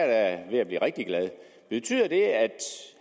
da ved at blive rigtig glad